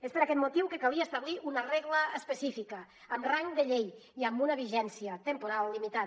és per aquest motiu que calia establir una regla específica amb rang de llei i amb una vigència temporal limitada